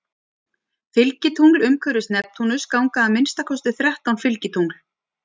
Fylgitungl Umhverfis Neptúnus ganga að minnsta kosti þrettán fylgitungl.